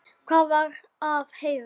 Hvað var að Heiðu?